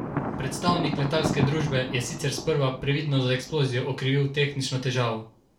Predstavnik letalske družbe je sicer sprva previdno za eksplozijo okrivil tehnično težavo.